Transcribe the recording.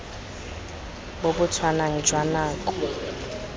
bo bo tshwanang jwa nako